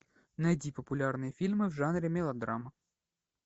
найди популярные фильмы в жанре мелодрама